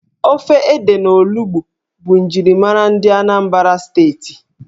Ofe ede na olugbu bụ njirimara ndị Anambra Steeti.